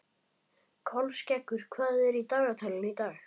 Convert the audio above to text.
Kolskeggur, hvað er í dagatalinu í dag?